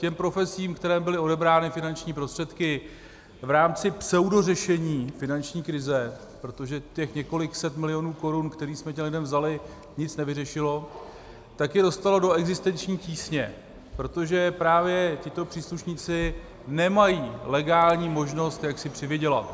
Těm profesím, kterým byly odebrány finanční prostředky v rámci pseudořešení finanční krize, protože těch několik set milionů korun, které jsme těm lidem vzali, nic nevyřešilo, tak je dostalo do existenční tísně, protože právě tito příslušníci nemají legální možnost, jak si přivydělat.